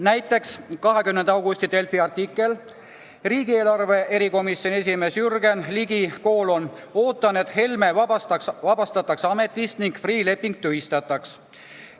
Näiteks ilmus 20. augusti Delfis artikkel "Riigieelarve erikomisjoni esimees Jürgen Ligi: ootan, et Helme vabastatakse ametist ning Freeh' leping tühistataks".